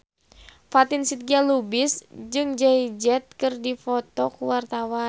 Fatin Shidqia Lubis jeung Jay Z keur dipoto ku wartawan